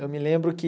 Eu me lembro que...